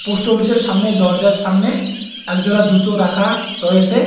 Post অফিসের সামনে দরজার সামনে এক জোড়া জুতো রাখা রয়েছে।